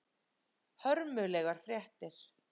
Hörmulegar fréttir.